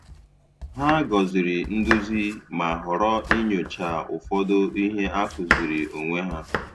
Hà gọzìrì nduzi, ma họrọ inyochaa ụfọdụ ihe a kụziri onwe ha.